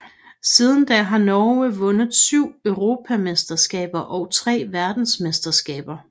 Siden da har Norge vundet syv europamesterskaber og tre verdensmesterskaber